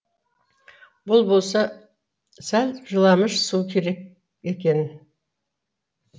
бұл болса сәл жыламыш су керек екен